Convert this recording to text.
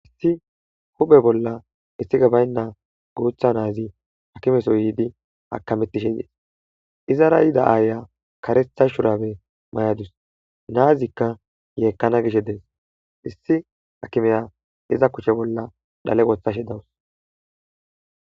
Issi huphphe bolla iiththikey bayna guutha naazi akimeso yiddi akametishenne iizara yiida ayiya kareththa shurabe mayadesu nazzija yeekana giishe dess issi akimiya iiza kushshe bolla dhale woththashe dawusu.